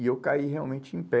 E eu caí realmente em pé.